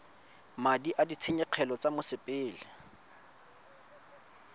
madi a ditshenyegelo tsa mosepele